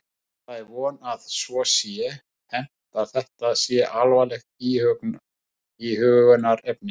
Já, það er von að svo sé hermt að þetta sé alvarlegt íhugunarefni.